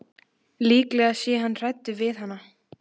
Líklega sé hann hræddur við hana.